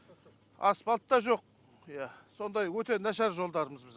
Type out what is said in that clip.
асфальт та жоқ иә сондай өте нашар жолдарымыз біздің